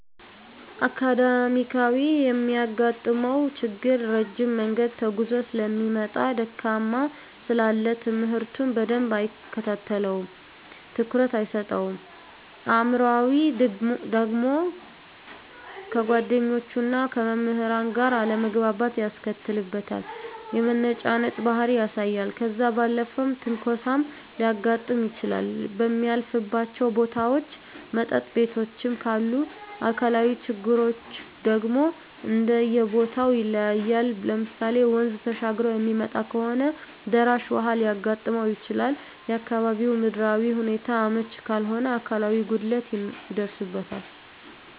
አካዳሚካያዊ የሚያጋጥመው ችግር ረጅም መንገድ ተጉዞ ሰለሚመጣ ድካም ስላለ ትምህርቱን በደንብ አይከታተለውም ትኩረት አይሰጠውም። አእምሯዊ ደግሞ ከጓደኞቹና ከመምህራን ጋር አለመግባባት ያስከትልበታል የመነጫነጭ ባህሪ ያሳያል። ከዛ ባለፈም ትንኮሳም ሊያጋጥም ይችላል በሚያልፍባቸው ቦታዎች መጠጥ ቤቶችም ካሉ። አካላዊ ችግሮች ደግሞ እንደየቦተው ይለያያል ለምሳሌ ወንዝ ተሻግሮ የሚመጣ ከሆነ ደራሽ ውሀ ሊያጋጥመው ይችላል፣ የአካባቢው ምድራዊ ሁኔታው አመች ካልሆነ አካላዊ ጉድለት ይደርስበታል።